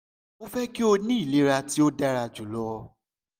mo fẹ ki o ni ilera ti o dara julọ